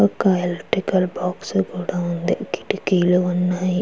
ఒక electrical box కూడా ఉంది కిటికీలు ఉన్నాయి.